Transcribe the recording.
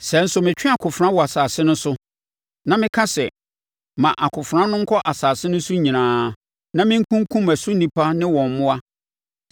“Sɛ nso metwe akofena wɔ asase no so, na meka sɛ, ‘Ma akofena no nkɔ asase no so nyinaa,’ na mekunkum ɛso nnipa ne wɔn mmoa,